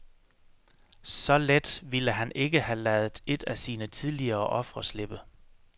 Så let ville han ikke have ladet et af sine tidligere ofre slippe.